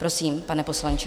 Prosím, pane poslanče.